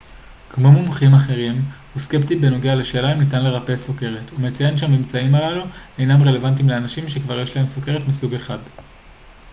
כמו מומחים אחרים הוא סקפטי בנוגע לשאלה אם ניתן לרפא סוכרת ומציין שהממצאים הללו אינם רלוונטיים לאנשים שכבר יש להם סוכרת מסוג 1